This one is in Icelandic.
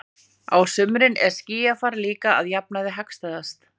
Á sumrin er skýjafar líka að jafnaði hagstæðast.